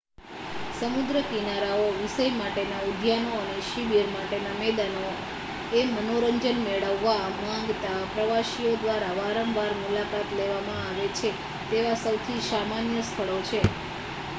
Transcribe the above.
સમુદ્ર કિનારાઓ વિષય માટેના ઉદ્યાનો અને શિબીર માટેના મેદાનો એ મનોરંજન મેળવવા માંગતા પ્રવાસીઓ દ્વારા વારંવાર મુલાકાત લેવામાં આવે છે તેવા સૌથી સામાન્ય સ્થળો છે